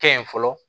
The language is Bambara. Kɛ yen fɔlɔ